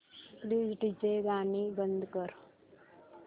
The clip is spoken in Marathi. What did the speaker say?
प्लीज डीजे गाणी बंद कर